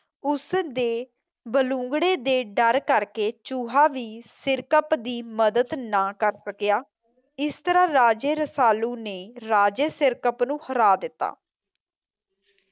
ਉਸ ਦੇ ਬਲੂੰਗੜੇ ਦੇ ਡਰ ਕਰਕੇ ਚੂਹਾ ਵੀ ਸਿਰਕਪ ਦੀ ਮਦਦ ਨਾ ਕਰ ਸਕਿਆ ਇਸ ਤਰ੍ਹਾਂ ਰਾਜੇ ਰਸਾਲੂ ਨੇ ਰਾਜੇ ਸਿਰਕਪ ਨੂੰ ਹਰਾ ਦਿੱਤਾ